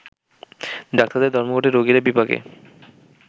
ডাক্তারদের ধর্মঘটে রোগিরা বিপাকে